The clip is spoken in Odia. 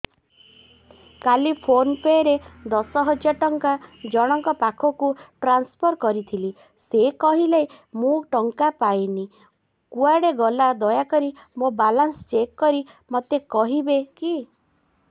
କାଲି ଫୋନ୍ ପେ ରେ ଦଶ ହଜାର ଟଙ୍କା ଜଣକ ପାଖକୁ ଟ୍ରାନ୍ସଫର୍ କରିଥିଲି ସେ କହିଲା ମୁଁ ଟଙ୍କା ପାଇନି କୁଆଡେ ଗଲା ଦୟାକରି ମୋର ବାଲାନ୍ସ ଚେକ୍ କରି ମୋତେ କହିବେ କି